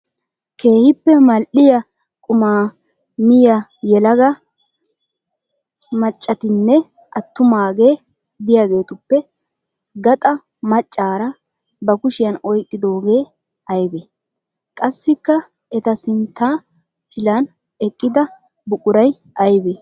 Keehippe mal'iyaa qumaa miyaa yelagaa maccatinne attumaage de'iyaagetuppe gaxaa macaara ba kushiyan oyqqidooge aybee? Qassikka eta sintta pilan eqqida buquray aybee?